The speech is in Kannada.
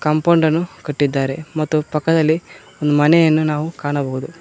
ಕಾಂಪೌಂಡನ್ನು ಕಟ್ಟಿದ್ದಾರೆ ಮತ್ತು ಪಕ್ಕದಲ್ಲಿ ಒಂದ್ ಮನೆಯನ್ನು ನಾವು ಕಾಣಬೋದು.